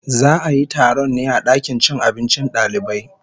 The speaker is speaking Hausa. Za a yi taron ne a dakin cin abincin dalibai